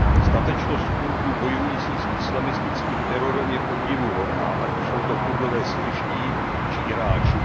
Statečnost Kurdů bojujících s islamistickým terorem je obdivuhodná, ať už jsou to Kurdové syrští či iráčtí.